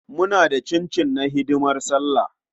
Muna da cincin na hidimar Sallah.